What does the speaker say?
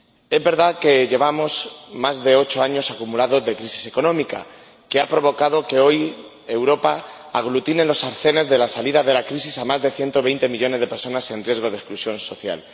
Es verdad que llevamos más de ocho años acumulados de crisis económica, que ha provocado que hoy Europa aglutine en los arcenes de la salida de la crisis a más de 120 millones de personas en riesgo de exclusión social.